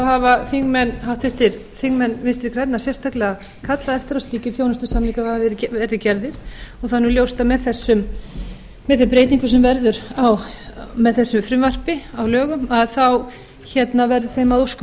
hafa háttvirtir þingmenn vinstri grænna sérstaklega kallað eftir að slíkir þjónustusamningar verði gerðir og það er nú ljóst að með þeim breytingum sem verða með þessu frumvarpi að lögum verður þeim að óskum